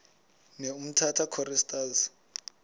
ne umtata choristers